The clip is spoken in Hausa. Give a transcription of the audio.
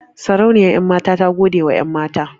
Sarauniyar 'yanmata ta godewa 'yanmata.